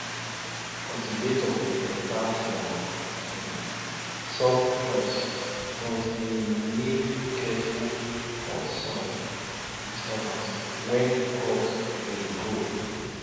cultivator beta for um soft crops but e need careful for soil disturbance when crops dey grow